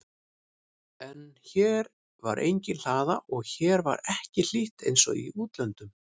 En hér var engin hlaða og hér var ekki hlýtt einsog í útlöndum.